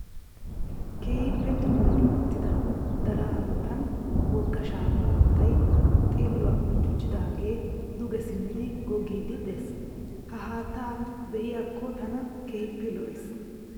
Keehippe dimmi gi uttida daraa matan wogga shaafa haattay xilluwa buljujidaage duge simmidi goggiiddi des. Ha haatta be'iyakko tana keehipe lo'es.